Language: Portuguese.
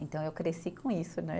Então, eu cresci com isso, né?